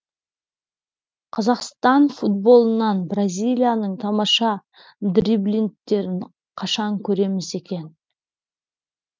қазақстан футболынан бразилияның тамаша дриблинттерін қашан көреміз екен